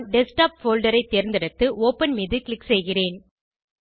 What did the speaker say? நான் desktop folder ஐ தேர்ந்தெடுத்து ஒப்பன் மீது க்ளிக் செய்கிறேன்